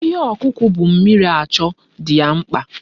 Ihe ọkụkọ bu mmiri achọ dị ya mkpa.